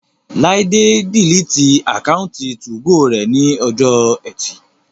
Láídé diliti àkáùntì 2go rẹ̀ ní ọjọ́ ẹtì